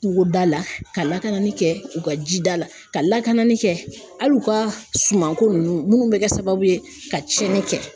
Kungoda la ka lakanani kɛ u ka jida la, ka lakanani kɛ hali u ka sumanko ninnu minnu bɛ kɛ sababu ye ka tiɲɛni kɛ